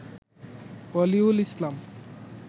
Waliul Islam